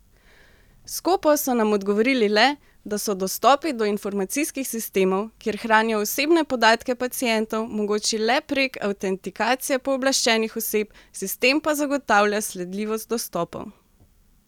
Skopo so nam odgovorili le, da so dostopi do informacijskih sistemov, kjer hranijo osebne podatke pacientov, mogoči le prek avtentikacije pooblaščenih oseb, sistem pa zagotavlja sledljivost dostopov.